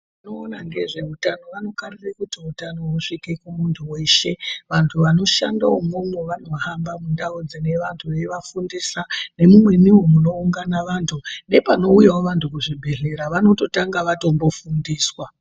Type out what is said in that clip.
Vanoona ngezveutano vanokarire kuti utano husvike kumuntu weshe. Vantu vanoshanda umwomwo vanohamba mundau dzine vantu veivafundisa nemumweniwo munoungana vantu. Nepanouyawo vantu kuzvibhedhlera vanototanga vatombofundiswa.